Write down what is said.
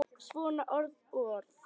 Svona orð og orð.